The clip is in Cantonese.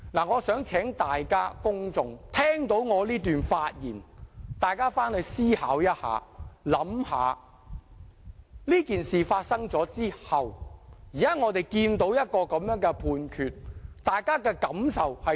我想請聽到我這段發言的公眾思考一下，這件事發生後，我們現在看到這樣的判決，大家有何感受？